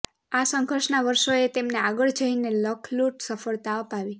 આ સંઘર્ષના વર્ષોએ તેમને આગળ જઈને લખલૂટ સફળતા અપાવી